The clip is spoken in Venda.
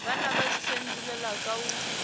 vha na vhudifhinduleli kha u